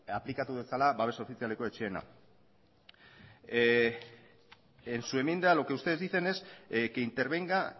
aplikatu dezala babes ofizialeko etxeena en su enmienda lo que ustedes dicen es que intervenga